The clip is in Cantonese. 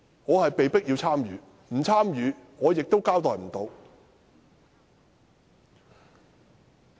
我是被迫參與的，若不參與，我無法交代。